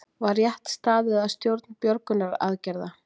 Var rétt staðið að stjórn björgunaraðgerða